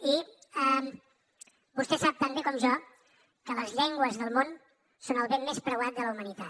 i vostè sap tan bé com jo que les llengües del món són el bé més preuat de la humanitat